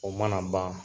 O mana ban